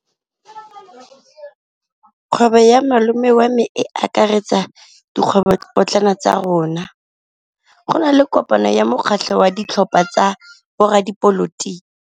Kgwêbô ya malome wa me e akaretsa dikgwêbôpotlana tsa rona. Go na le kopanô ya mokgatlhô wa ditlhopha tsa boradipolotiki.